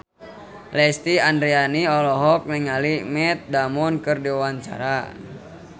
Lesti Andryani olohok ningali Matt Damon keur diwawancara